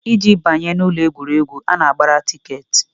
Iji banye n'ụlọ egwuregwu, a na-agbara tikeetị